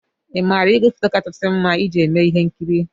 Ị maara ígwèfoto kachasị mma iji eme ihe nkiri?